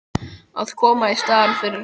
Að koma í staðinn fyrir hann?